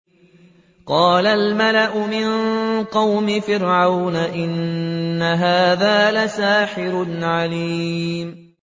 قَالَ الْمَلَأُ مِن قَوْمِ فِرْعَوْنَ إِنَّ هَٰذَا لَسَاحِرٌ عَلِيمٌ